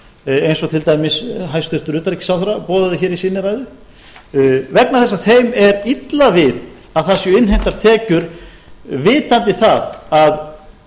eins og til dæmis hæstvirtur utanríkisráðherra boðaði í sinni ræðu vegna þess að þeim er illa við að það séu innheimtar tekjur vitandi það